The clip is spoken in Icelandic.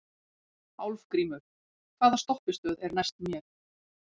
Álfgrímur, hvaða stoppistöð er næst mér?